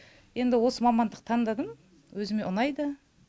енді осы мамандықты таңдадым өзіме ұнайды